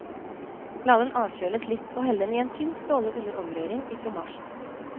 La den avkjøles litt og hell den i en tynn stråle under omrøring i fromasjen.